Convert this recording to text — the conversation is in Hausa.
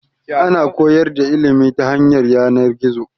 Ana koyar da ilimi ta hanyar yanan-gizo